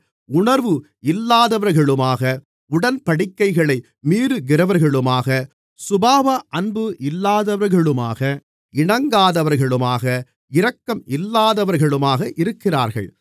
உணர்வு இல்லாதவர்களுமாக உடன்படிக்கைகளை மீறுகிறவர்களுமாக சுபாவ அன்பு இல்லாதவர்களுமாக இணங்காதவர்களுமாக இரக்கம் இல்லாதவர்களுமாக இருக்கிறார்கள்